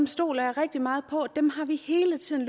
stoler rigtig meget på dem dem har vi hele tiden